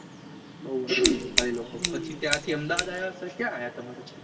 નેપાળી લોકો ત્યાંથી પછી અમદાવાદ આવ્યા કે ક્યાં આવ્યા